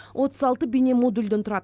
отыз алты бейнемодульден тұрады